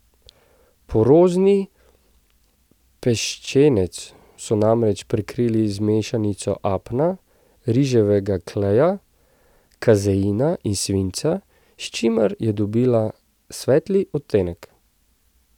Porozni peščenec so namreč prekrili z mešanico apna, riževega kleja, kazeina in svinca, s čimer je dobila svetli odtenek.